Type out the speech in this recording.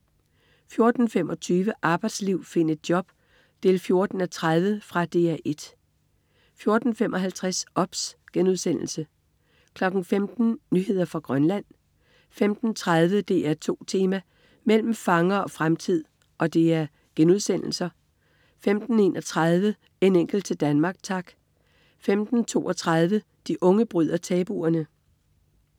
14.25 Arbejdsliv, find et job 14:30. Fra DR 1 14.55 OBS* 15.00 Nyheder fra Grønland* 15.30 DR2 Tema: Mellem fangere og fremtid* 15.31 En enkelt til Danmark, tak* 15.32 De unge bryder tabuerne*